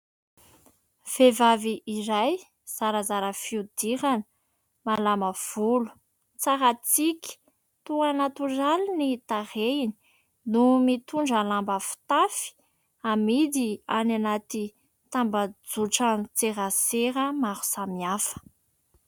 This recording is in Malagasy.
Veihivavy iray zarazara fihodirana, malama volo, tsara tsiky, toa natoraly ny tarehiny no mitondra lamba fitafy amidy any anaty tamban-jotran-tserasera maro samihafa.